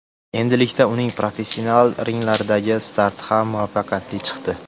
Endilikda uning professional ringlardagi starti ham muvaffaqiyatli chiqdi.